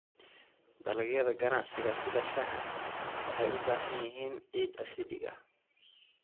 Dalagyada ganacsiga sida shaaha waxay u baahan yihiin ciid acidic ah.